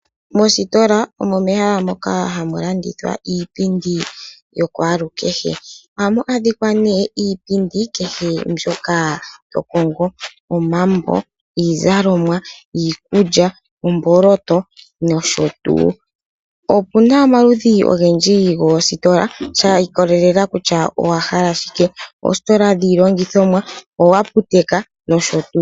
Mositola omo mehala moka hamu landithwa iipindi yakwalukehe. Ohamu adhika ne iipindi kehe mbyoka to kongo, omambo, iizalomwa ,iikulya, omboloto nosho tuu. Opu na omaludhi ogendji goositola sha ikolelela kutya owa hala shike. Ositola dhiilongithomwa, oaputeka nosho tuu.